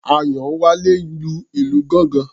Àyánwálé ń lu ìlù gángan.